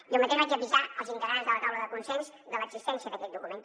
jo mateix vaig avisar els integrants de la taula de consens de l’existència d’aquest document